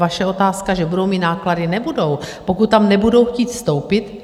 Vaše otázka, že budou mít náklady - nebudou, pokud tam nebudou chtít vstoupit.